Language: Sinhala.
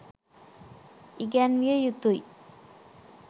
ඉගැන්විය යුතුයි.